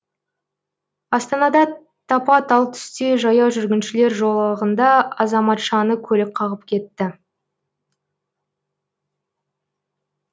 астанада тапа талтүсте жаяу жүргіншілер жолағында азаматшаны көлік қағып кетті